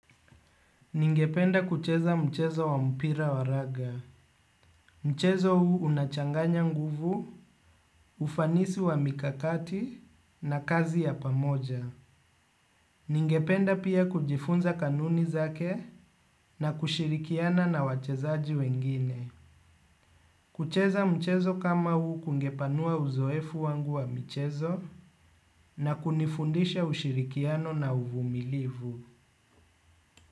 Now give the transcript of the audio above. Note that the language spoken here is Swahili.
Ningependa kucheza mchezo wa mpira wa raga. Mchezo huu unachanganya nguvu, ufanisi wa mikakati na kazi ya pamoja. Ningependa pia kujifunza kanuni zake na kushirikiana na wachezaji wengine. Kucheza mchezo kama huu kungepanua uzoefu wangu wa michezo na kunifundisha ushirikiano na uvumilivu.